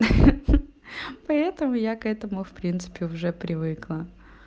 ха-ха поэтому я к этому в принципе уже привыкла